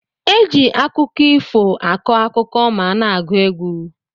Eji akụkọ ifo akọ akụkọ ma ana agu egwu.